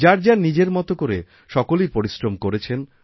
যার যার নিজের মতো করে সকলেই পরিশ্রম করেছেন